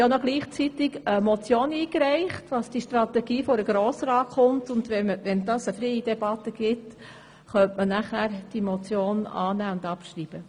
Wir haben ja gleichzeitig eine Motion eingereicht, wonach die Strategie vor den Grossen Rat kommen soll, und wenn wir eine freie Debatte führen können, könnte man diese Motion dann annehmen und abschreiben.